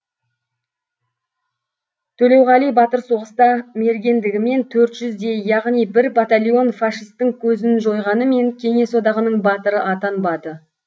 төлеуғали батыр соғыста мергендігімен төрт жүздей яғни бір батальон фашистің көзін жойғанымен кеңес одағының батыры атанбады